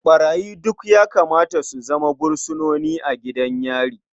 Ɓarayi duk ya kamata su zama fursunoni a gidan yari.